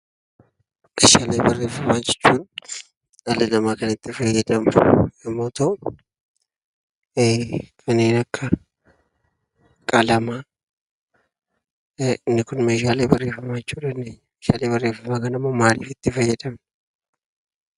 Meeshaalee barreeffamaa jechuun, dhalli namaa kan itti fayyadamu yommuu ta'u, kanneen akka qalama inni Kun Meeshaalee barreeffamaa jechuudha . Meeshaalee barreeffamaa kana immoo maaliif itti fayyadamna?